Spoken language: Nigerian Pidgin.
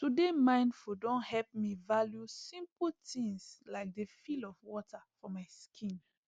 to dey mindful don help me value simple things like the feel of water for my skin